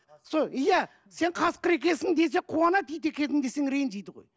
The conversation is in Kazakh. сол иә сен қасқыр екенсің десе қуанады ит екенсің десең ренжиді ғой